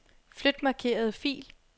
Flyt markerede fil.